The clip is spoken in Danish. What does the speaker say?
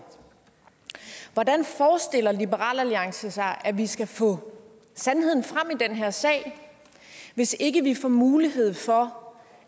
hvordan forestiller liberal alliance sig at vi skal få sandheden frem i den her sag hvis ikke vi får mulighed for